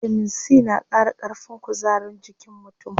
Bitamin C na qara ƙarfin kuzarin jikin mutum.